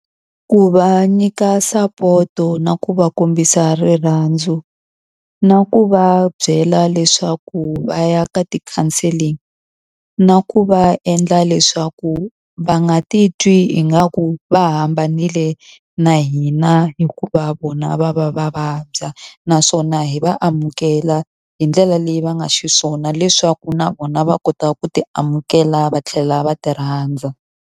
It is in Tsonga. Ku va nyika sapoto na ku va kombisa rirhandzu, na ku va byela leswaku va ya ka ti-counselling, na ku va endla leswaku va nga titwi ingaku va hambanile na hina hikuva vona va va va vabya. Naswona hi va amukela hi ndlela leyi va nga xiswona leswaku na vona va kota ku ti amukela va tlhela va ti rhandza.